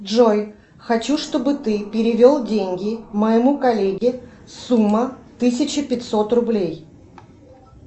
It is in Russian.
джой хочу чтобы ты перевел деньги моему коллеге сумма тысяча пятьсот рублей